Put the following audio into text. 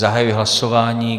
Zahajuji hlasování.